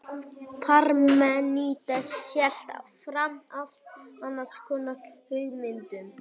parmenídes hélt fram allt annars konar hugmyndum